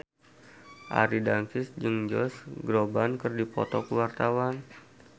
Arie Daginks jeung Josh Groban keur dipoto ku wartawan